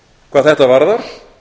hvað þetta varðar